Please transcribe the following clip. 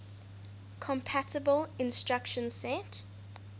compatible instruction set